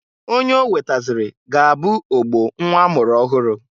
Onye o wetazịrị ga-abụ ogbo nnwa a mụrụ ọhụrụ.